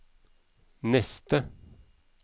neste